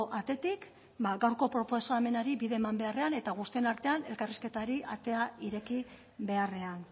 atetik bada gaurko proposamenari bide eman beharrean eta guztien artean elkarrizketari atea ireki beharrean